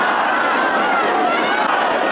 İsrail!